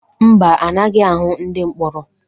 Mba, anaghị ahụ ndị mkpọrọ.